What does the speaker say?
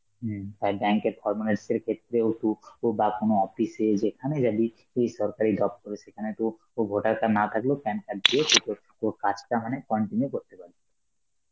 হম তাই bank এর formalities এর ক্ষেত্রেও তু~ ও বা কোনো office এ, যেখানে যাবি, কি সরকারি দপ্তরে, সেখানে তো ও voter card না থাকলেও PAN card দিয়ে তুই তোর~ তোর কাজটা মানে continue করতে পারবে.